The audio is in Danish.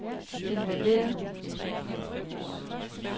involveret